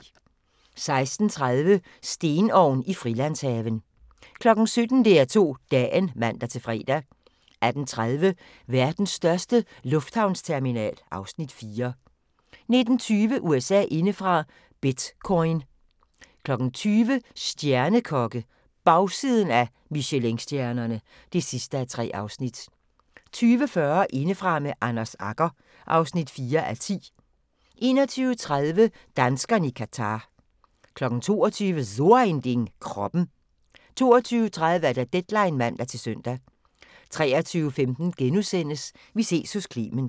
16:30: Stenovn i Frilandshaven 17:00: DR2 Dagen (man-fre) 18:30: Verdens største lufthavnsterminal (Afs. 4) 19:20: USA indefra: Bitcoin 20:00: Stjernekokke -– Bagsiden af Michelinstjernerne (3:3) 20:45: Indefra med Anders Agger (4:10) 21:30: Danskerne i Qatar 22:00: So ein Ding: Kroppen 22:30: Deadline (man-søn) 23:15: Vi ses hos Clement *